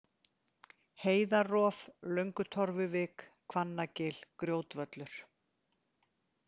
Heiðarof, Löngutorfuvik, Hvannagil, Grjótvöllur